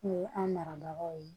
O ye an marabagaw ye